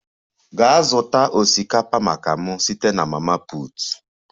Gaa zụta osikapa maka m site na mama put!